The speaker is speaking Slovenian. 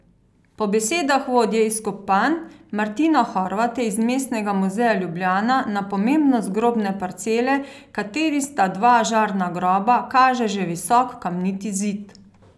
Po besedah vodje izkopavanj Martina Horvata iz Mestnega muzeja Ljubljana na pomembnost grobne parcele, v kateri sta dva žarna groba, kaže že visok kamniti zid.